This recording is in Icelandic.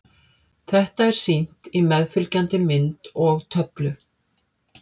Þetta er sýnt á meðfylgjandi mynd og töflu.